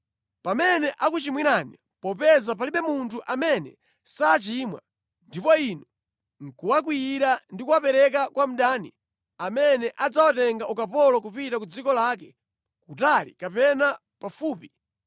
“Pamene akuchimwirani, popeza palibe munthu amene sachimwa, ndipo Inu nʼkuwakwiyira ndi kuwapereka kwa mdani, amene adzawatenga ukapolo kupita ku dziko lake, kutali kapena pafupi;